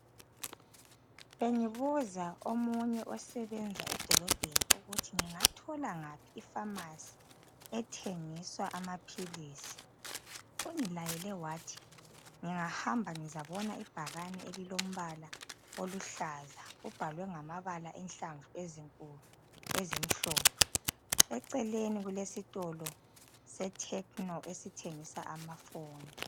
Bengibuza omunye osebenza edolobheni ukuthi ngingathola ngaphi ifamasi ethengiswa amaphilisi. Ungilayele wathi ngingahamba ngizabona ibhakane elilombala oluhlaza ubhalwe ngamabala enhlamvu ezinkulu ezimhlophe. Eceleni kulesitolo seTchno esithengisa amafoni.